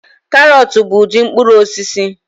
Karọt bụ ụdị mkpụrụ osisi